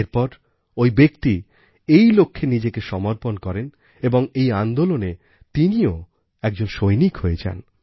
এর পর ঐ ব্যক্তি এই লক্ষ্যে নিজেকে সমর্পণ করেন এবং এই আন্দোলনে তিনিও একজন সৈনিক হয়ে যান